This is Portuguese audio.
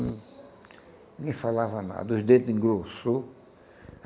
Hum, Ninguém falava nada, os dentes engrossou.